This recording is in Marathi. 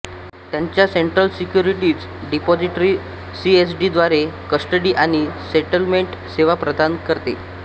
त्याच्या सेंट्रल सिक्युरिटीज डिपॉझिटरी सीएसडी द्वारे कस्टडी आणि सेटलमेंट सेवा प्रदान करते